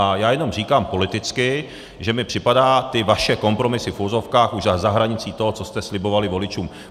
A já jenom říkám politicky, že mi připadají ty vaše kompromisy v uvozovkách už za hranicí toho, co jste slibovali voličům.